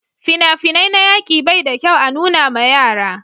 fina-finai na yaƙi bai da kyau a nuna ma yara